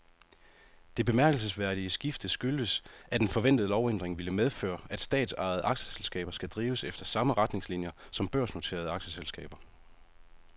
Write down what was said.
Det bemærkelsesværdige skifte skyldes, at en forventet lovændring vil medføre, at statsejede aktieselskaber skal drives efter samme retningslinier som børsnoterede aktieselskaber.